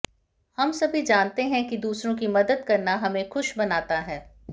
हम सभी जानते हैं कि दूसरों की मदद करना हमें खुश बनाता है